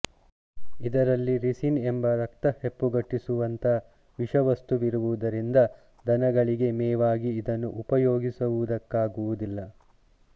ಇದರಲ್ಲಿ ರಿಸಿನ್ ಎಂಬ ರಕ್ತ ಹೆಪ್ಪುಗಟ್ಟಿಸುವಂಥ ವಿಷವಸ್ತುವಿರುವುದರಿಂದ ದನಗಳಿಗೆ ಮೇವಾಗಿ ಇದನ್ನು ಉಪಯೋಗಿಸುವುದಕ್ಕಾಗುವುದಿಲ್ಲ